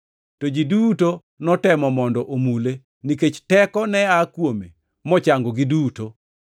to ji duto notemo mondo omule, nikech teko ne aa kuome mochangogi duto.